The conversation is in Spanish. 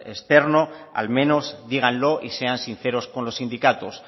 externo al menos díganlo y sean sinceros con los sindicatos